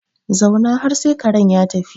Zauna har sai karen ya tafi